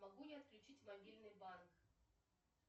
могу я отключить мобильный банк